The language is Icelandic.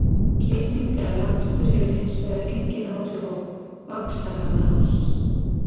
Klipping eða rakstur hefur hins vegar engin áhrif á vaxtarhraða hársins.